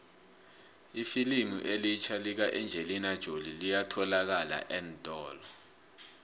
ifilimu elitjha lika engelina jolie liyatholalakala eentolo